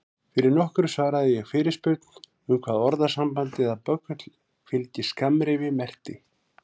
Fyrir nokkru svaraði ég fyrirspurn um hvað orðasambandið að böggull fylgi skammrifi merkti.